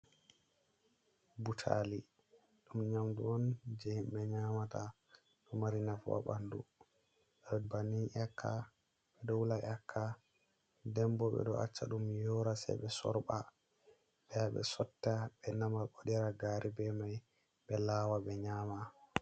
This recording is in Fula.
Butaali ɗum nyamdu on jey himɓe nyamata, ɗo mari nafu haa ɓanndu. Be banni ƴakka, ɓe ɗo wula ƴakka, dembo ɓe ɗo acca ɗum yoora, sey ɓe sorɓa, ɓe yaha ɓe sotta, ɓe nama bo, waɗira gaari be may, ɓe laawa, ɓe nyaama.